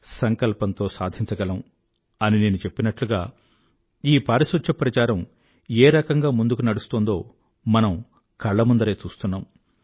సంకల్పంతో సాధించగలం అని నేను చెప్పినట్లుగా ఈ పారిశుధ్య ప్రచారం ఏ రకంగా ముందుకు నడుస్తోందో మనం కళ్ల ముందరే చూస్తున్నాం